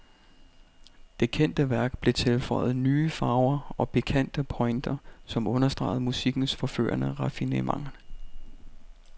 Det kendte værk blev tilføjet nye farver og pikante pointer, som understregede musikkens forførende raffinement.